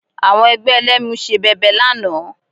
Àwọn ẹgbẹ́ Ẹlẹ́mu ṣe bẹbẹ lánàá